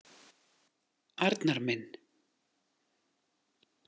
Arnar minn.